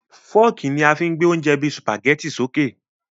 Fọ́ọ́kì ni a fí ń gbé oúnjẹ bíi Sùpàgẹ́tì sókè